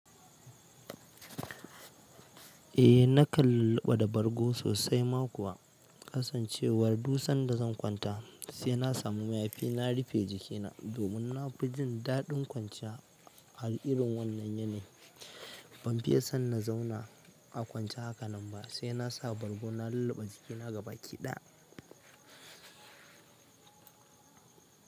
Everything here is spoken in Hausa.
Eh na kallaɓa da bargo sosai ma kuwa, kasancewar duk sanda zan kwanta sai na samu mayafi na rufe jikina. Domin na fi jin daɗin kwanciya a irin wannan yanayi, ban fiye san na zauna a kwanciya haka nan ba sai na sa bargo na lulluɓe jikina gabaki ɗaya.